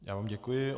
Já vám děkuji.